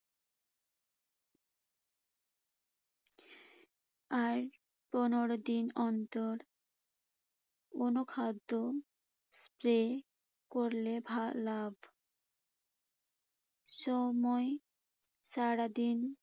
আর পনের দিন অন্তর কোনো খাদ্য spray করলে ভালো লাভ। সময় সারাদিন